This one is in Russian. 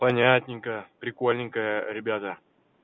понятненько прикольненько ребята